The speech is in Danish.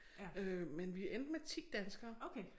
Øh men vi endte med 10 danskere